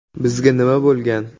Bizga nima bo‘lgan?